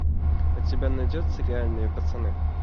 у тебя найдется реальные пацаны